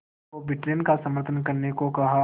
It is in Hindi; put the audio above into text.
को ब्रिटेन का समर्थन करने को कहा